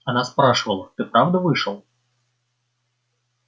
она спрашивала ты правда вышел